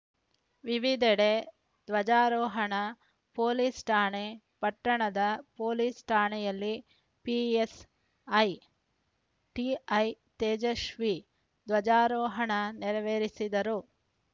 ವಿವಿಧೆಡೆ ಧ್ವಜಾರೋಹಣ ಪೊಲೀಸ್‌ ಠಾಣೆ ಪಟ್ಟಣದ ಪೊಲೀಸ್‌ ಠಾಣೆಯಲ್ಲಿ ಪಿಎಸ್‌ಐ ಟಿಐ ತೇಜಸ್ವಿ ಧ್ವಜಾರೋಹಣ ನೆರವೇರಿಸಿದರು